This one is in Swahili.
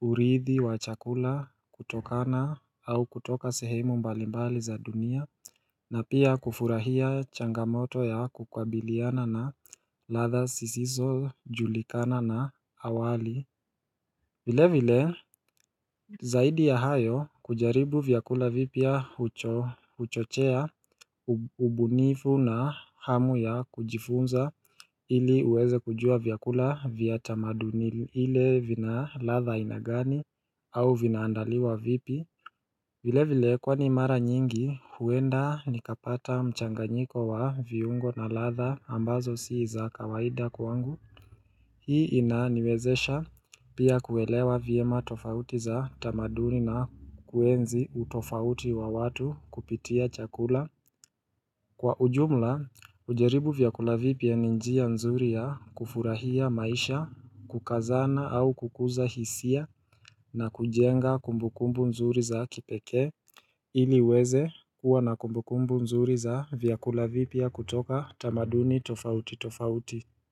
urithi wa chakula kutokana au kutoka sehemu mbalimbali za dunia. Na pia kufurahia changamoto ya kukabiliana na ladha sisiso julikana na awali vile vile zaidi ya hayo kujaribu vyakula vipya huchochea ubunifu na hamu ya kujifunza ili uweze kujua vyakula vya tamaduni ile vina ladha aina gani au vinaandaliwa vipi vile vile kwani mara nyingi huenda nikapata mchanganyiko wa viungo na ladha ambazo si za kawaida kwangu Hii inaniwezesha pia kuelewa vyema tofauti za tamaduni na kuenzi utofauti wa watu kupitia chakula Kwa ujumla kujaribu vyakula vipya ni njia nzuri ya kufurahia maisha, kukazana au kukuza hisia na kujenga kumbukumbu nzuri za kipeke ili uweze kuwa na kumbukumbu mzuri za vyakula vipya kutoka tamaduni tofauti tofauti.